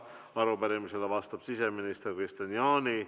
Arupärimisele vastab siseminister Kristian Jaani.